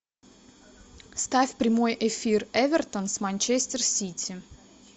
ставь прямой эфир эвертон с манчестер сити